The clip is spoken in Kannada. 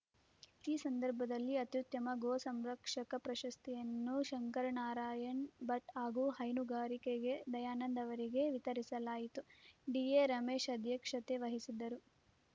ಈ ಸಂದರ್ಭದಲ್ಲಿ ಅತ್ಯುತ್ತಮ ಗೋಸಂರಕ್ಷಕ ಪ್ರಶಸ್ತಿಯನ್ನು ಶಂಕರನಾರಾಯಣ್‌ ಭಟ್‌ ಹಾಗೂ ಹೈನುಗಾರಿಕೆಗೆ ದಯಾನಂದ್‌ ಅವರಿಗೆ ವಿತರಿಸಲಾಯಿತು ಡಿಎ ರಮೇಶ್‌ ಅಧ್ಯಕ್ಷತೆ ವಹಿಸಿದ್ದರು